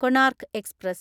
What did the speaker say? Konark express